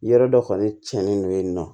Yɔrɔ dɔ kɔni tiɲɛnen don yen nɔ